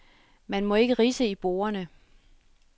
Man må ikke ridse i bordene.